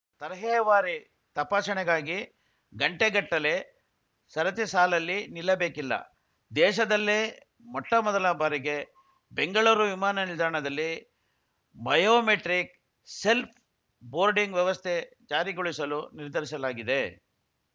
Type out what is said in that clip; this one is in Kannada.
ತರಹೇವಾರಿ ತಪಾಸಣೆಗಾಗಿ ಗಂಟೆಗಟ್ಟಲೆ ಸರತಿ ಸಾಲಲ್ಲಿ ನಿಲ್ಲಬೇಕಿಲ್ಲ ದೇಶದಲ್ಲೇ ಮೊಟ್ಟಮೊದಲ ಬಾರಿಗೆ ಬೆಂಗಳೂರು ವಿಮಾನ ನಿಲ್ದಾಣದಲ್ಲಿ ಬಯೋಮೆಟ್ರಿಕ್‌ ಸೆಲ್ಪ್ ಬೋರ್ಡಿಂಗ್‌ ವ್ಯವಸ್ಥೆ ಜಾರಿಗೊಳಿಸಲು ನಿರ್ಧರಿಸಲಾಗಿದೆ